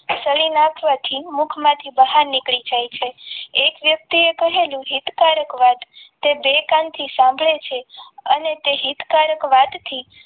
સડી નાખવાથી મુખમાંથી બહાર નીકળી જાય છે એક વ્યક્તિએ કહેલી હિતકારક વાત તે બે કાન થી સાંભળે છે અને તે હિતકારક વાતથી